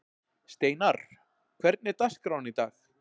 Steinarr, hvernig er dagskráin í dag?